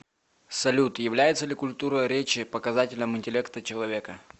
салют является ли культура речи показателем интеллекта человека